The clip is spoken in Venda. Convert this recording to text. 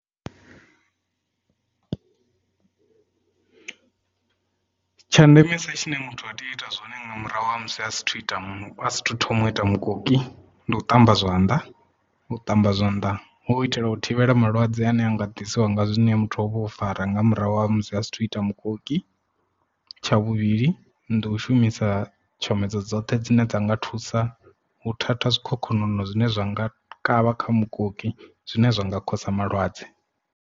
Tsha ndemesa tshine muthu a tea u ita zwone nga murahu ha musi asathu ita muthu a sa thu thoma u ita mukoki ndi u ṱamba zwanḓa u ṱamba zwanḓa hu u itela u thivhela malwadze ane anga ḓisiwa nga zwine muthu ha uvha u fara nga murahu ha musi asathu ita mukoki. Tsha vhuvhili ndi u shumisa tshomedzo dzoṱhe dzine dza nga thusa u thatha zwikhokhonono zwine zwa nga kavha kha mukoki zwine zwa nga khosa malwadze.